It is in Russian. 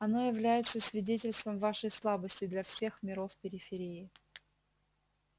оно является свидетельством вашей слабости для всех миров периферии